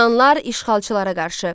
Yunanlar işğalçılara qarşı.